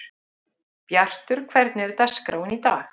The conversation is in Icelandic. Bjartur, hvernig er dagskráin í dag?